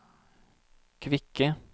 kvikke